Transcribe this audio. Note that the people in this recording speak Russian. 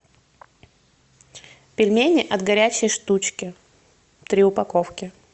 пельмени от горячей штучки три упаковки